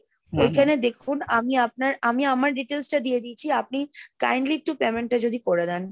ওই খানে দেখুন আমি আপনার আমি আমার details টা দিয়ে দিয়েছি , আপনি kindly একটু payment টা যদি করে দেন।